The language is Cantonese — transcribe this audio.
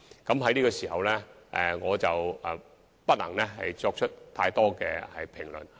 我現時不能就此作出太多評論。